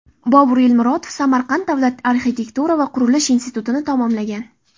Bobur Elmurodov Samarqand davlat arxitektura va qurilish institutini tamomlagan.